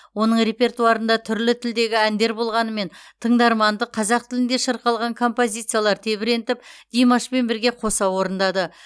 оның репертуарында түрлі тілдегі әндер болғанымен тыңдарманды қазақ тілінде шырқалған композициялар тебірентіп димашпен бірге қоса орындады